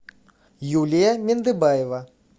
юлия мендыбаева